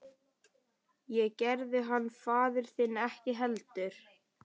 Það gerði hann faðir þinn ekki heldur.